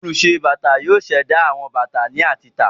Olùṣe-bàtà yóò ṣẹ̀dá àwọn bàtà láti tà.